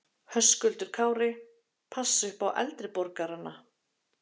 Höskuldur Kári: Passa upp á eldri borgarana?